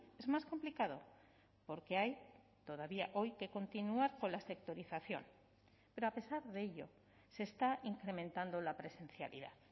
es más complicado porque hay todavía hoy que continuar con la sectorización pero a pesar de ello se está incrementando la presencialidad